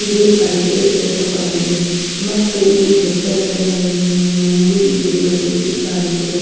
ಇದು ಅಡಿಕೆ ತೋಟವಾಗಿದೆ ಮತ್ತು ಈ ಬೆಟ್ಟದ ಮೇಲೆ ಹನಿ ಮಂಜು ಬಿದ್ದಿರುವ ರೀತಿ ಕಾಣುತ್ತಿದೆ.